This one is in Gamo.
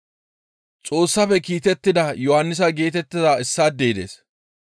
Xoossafe kiitettida Yohannisa geetettiza issaadey dees.